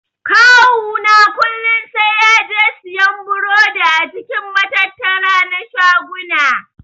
Kawu na kullun sai yaje siyan burodi a cikin matattara na shaguna.